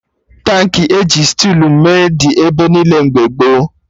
Tankị e ji stilu mee dị ebe niile mgbe gboo